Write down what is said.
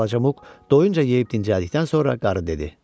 Balaca Muk doyunca yeyib dincəldikdən sonra qarı dedi.